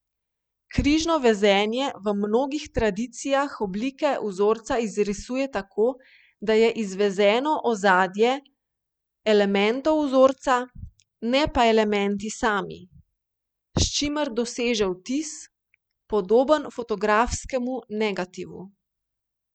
Križno vezenje v mnogih tradicijah oblike vzorca izrisuje tako, da je izvezeno ozadje elementov vzorca, ne pa elementi sami, s čimer doseže vtis, podoben fotografskemu negativu.